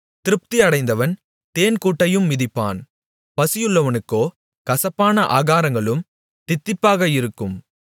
திருப்தியடைந்தவன் தேன்கூட்டையும் மிதிப்பான் பசியுள்ளவனுக்கோ கசப்பான ஆகாரங்களும் தித்திப்பாக இருக்கும்